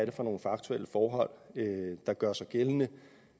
er for nogle faktuelle forhold der gør sig gældende